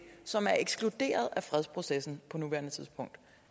som er ekskluderet af fredsprocessen på nuværende tidspunkt